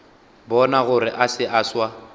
bona gore se a swa